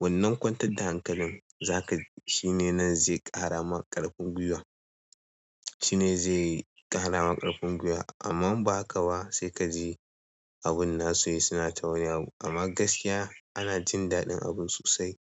wannan kwantar da hankalin zaka ji shine nan zai ƙara ma ƙarfin gwiwa, shine zai ƙara ma ƙarfin gwiwa. Amma ba ka ba sai kaji abun nasu yi suna ta wani abu. Amma gaskiya ana jin daɗin abun sosai.